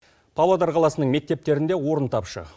павлодар қаласының мектептерінде орын тапшы